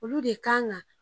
Olu de kan kan